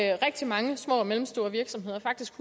er rigtig mange små og mellemstore virksomheder faktisk